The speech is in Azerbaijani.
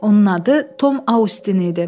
Onun adı Tom Astin idi.